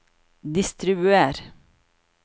distribuer